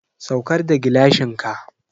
Saukar da gilashin ka!